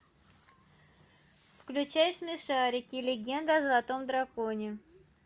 включай смешарики легенда о золотом драконе